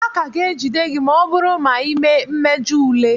A ka ga-ejide gị ma ọ bụrụ na ịmee mmejọ ule.